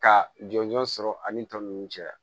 Ka jɔnjɔn sɔrɔ ani tɔ ninnu cɛ